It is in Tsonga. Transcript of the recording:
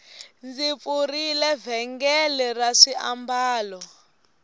ndzi pfurile vhengele ra swiambalo